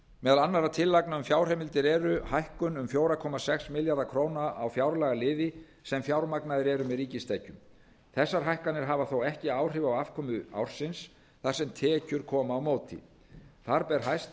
meðal annarra tilefna um fjárheimildir eru hækkun um fjóra komma sex milljarða króna á fjárlagaliði sem fjármagnaðir eru með ríkistekjum þessar hækkanir hafa þó ekki áhrif á afkomu ársins þar sem tekjur koma á móti þar ber hæst